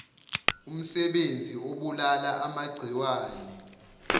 umsebenzi obulala amagciwane